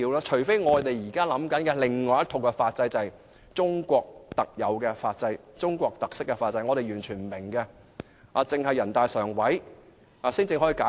除非我們現在考慮的是另一套法制，就是中國特有或有中國特色的法制，是我們完全不明白的法制，只有人大常委會才能解釋。